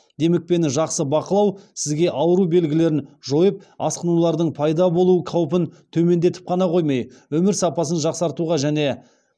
демікпені жақсы бақылау сізге ауру белгілерін жойып асқынулардың пайда болу қаупін төмендетіп қана қоймай өмір сапасын жақсартуға және